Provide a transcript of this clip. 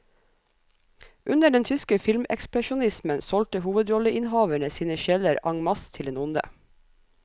Under den tyske filmekspresjonismen solgte hovedrolleinnehaverene sine sjeler en masse til den onde.